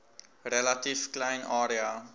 relatief klein area